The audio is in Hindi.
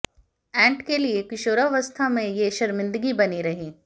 एंट के लिए किशोरावस्था में ये शर्मिंदगी बनी रही